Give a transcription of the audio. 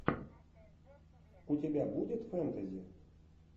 у тебя будет фэнтези